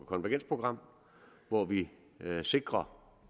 konvergensprogram hvor vi sikrer